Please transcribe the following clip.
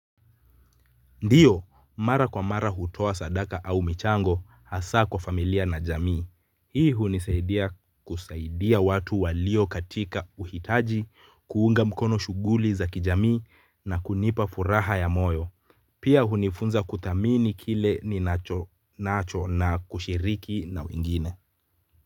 Ndio mara kwa mara hutoa sadaka au michango hasaa kwa familia na jamii. Hii hunisaidia kusaidia watu walio katika uhitaji kuunga mkono shughuli za kijamii na kunipa furaha ya moyo. Pia hunifunza kuthamini kile ninacho na kushiriki na wengine.